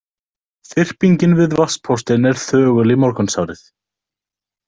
Þyrpingin við vatnspóstinn er þögul í morgunsárið.